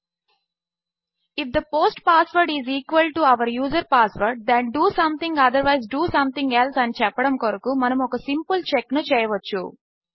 if the post password is equal to our user password then do something otherwise do something else అని చెప్పడము కొరకు మనము ఒక simple check ను చెయవచ్చు